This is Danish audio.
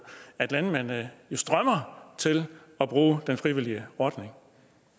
at landmændene jo strømmer til den frivillige ordning